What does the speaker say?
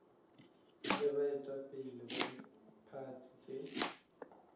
le baetapele ba diphathi tše